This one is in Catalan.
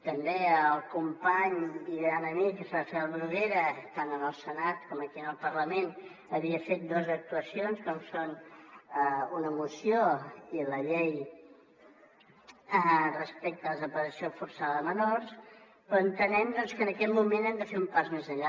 també el company i gran amic rafel bruguera tant en el senat com aquí en el parlament havia fet dues actuacions com són una moció i la llei respecte a la desaparició forçada de menors però entenem que en aquest moment hem de fer un pas més enllà